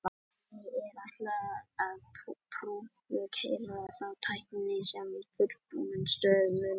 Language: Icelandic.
því er ætlað að prufukeyra þá tækni sem fullbúin stöð mun nota